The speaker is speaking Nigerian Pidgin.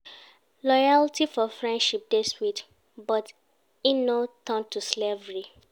Loyalty for friendship dey sweet, but make e no turn to slavery.